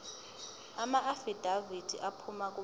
amaafidavithi aphuma kubantu